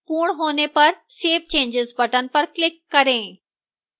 पूर्ण होने पर save changes button पर click करें